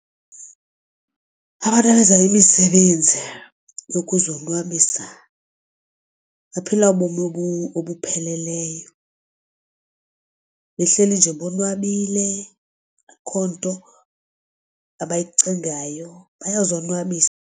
Abantu abenza imisebenzi yokuzonwabisa baphila ubomi obupheleleyo behleli nje bonwabile akukho nto abayicingayo bayozonwabisa.